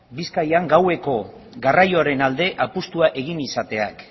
bizkaian gaueko garraioaren alde apustua egin izateak